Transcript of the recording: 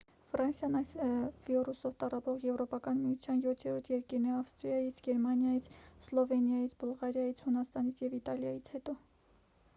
ֆրանսիան այս վիրուսով տառապող եվրոպական միության յոթերորդ երկիրն է ավստրիայից գերմանիայից սլովենիայից բուլղարիայից հունաստանից և իտալիայից հետո